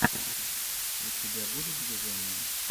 у тебя будет движение